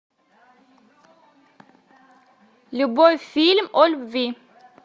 любой фильм о любви